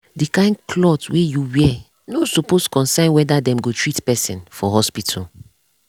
the kain cloth wey you wear no suppose concern whether dem go treat person for hospital